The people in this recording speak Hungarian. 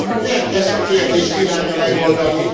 Nem ezt a kérdést kívánja megoldani.